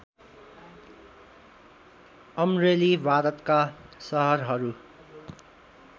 अमरेली भारतका सहरहरू